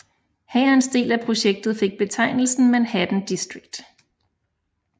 Hærens del af projektet fik betegnelsen Manhattan District